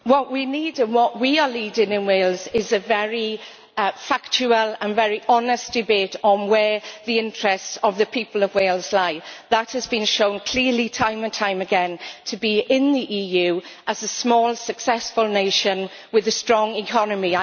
What we need, and what we are leading, in Wales is a very factual and very honest debate on where the interests of the people of Wales lie. That has been shown clearly time and time again to be in the EU as a small successful nation with a strong economy.